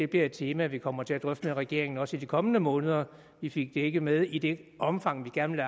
bliver et tema vi kommer til at drøfte med regeringen også i de kommende måneder vi fik det ikke med i det omfang vi gerne